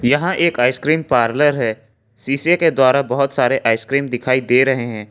यहां एक ice cream parlour है शीशे के द्वारा बहुत सारे आइसक्रीम दिखाई दे रहे हैं।